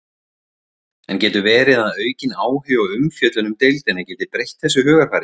En getur verið að aukin áhugi og umfjöllun um deildina geti breytt þessu hugarfari?